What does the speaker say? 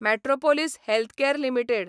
Metropolis Healthcare limited